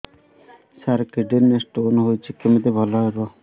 ସାର kidney ରେ stone ହେଇଛି କମିତି ଭଲ ହେବ